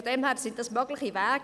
Das sind mögliche Wege.